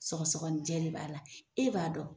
Sɔgɔsɔgɔninjɛ de b'a la, e b'a dɔn